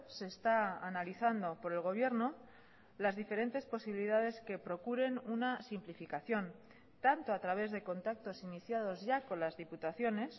se está analizando por el gobierno las diferentes posibilidades que procuren una simplificación tanto a través de contactos iniciados ya con las diputaciones